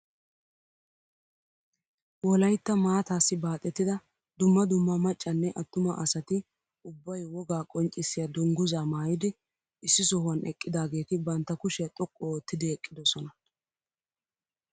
Wolaytta maataassi baaxettida dumma dumma maccanne attuma asati ubbay wogaa qonccisiyaa dungguzaa maayidi issi sohuwaan eqqidaageti bantta kushiyaa xoqqu oottidi eqqidosona.